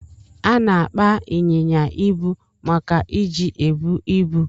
Ana akpa inyinya ibu maka iji ebu ibu.